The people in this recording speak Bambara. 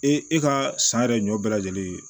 E e ka san yɛrɛ ɲɔ bɛɛ lajɛlen